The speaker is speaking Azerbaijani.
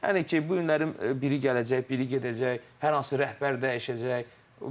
Yəni ki, bu günləri biri gələcək, biri gedəcək, hər hansı rəhbər dəyişəcək.